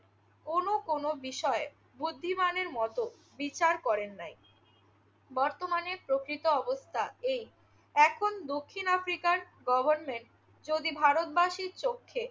কোন কোন বিষয়ে বুদ্ধিমানের মতো বিচার করেন নাই। বর্তমানে প্রকৃত অবস্থা এই। এখন দক্ষিণ আফ্রিকার গভর্নমেন্ট যদি ভারতবাসীর চোক্ষে